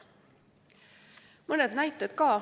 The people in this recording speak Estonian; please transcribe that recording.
Mõned näited ka.